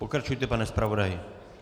Pokračujte, pane zpravodaji.